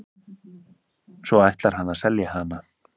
Svo ætlar hann að selja hana.